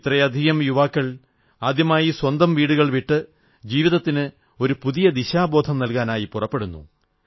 ഇത്രയധികം യുവാക്കൾ ആദ്യമായി സ്വന്തം വീടുകൾ വിട്ട് ജീവിതത്തിന് ഒരു പുതിയ ദിശാബോധം നൽകാനായി പുറപ്പെടുന്നു